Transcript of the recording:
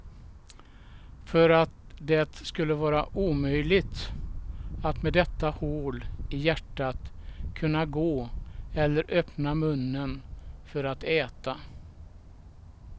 För att det skulle vara omöjligt, att med detta hål i hjärtat kunna gå eller öppna munnen för att äta.